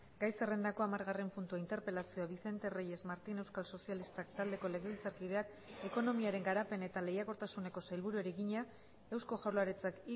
gai zerrendako hamargarren puntua interpelazioa vicente reyes martín euskal sozialistak taldeko legebiltzarkideak ekonomiaren garapen eta lehiakortasuneko sailburuari egina eusko jaurlaritzak